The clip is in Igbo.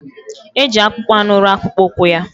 Eji akpụkpọanụ rụọ akpụkpọụkwụ ya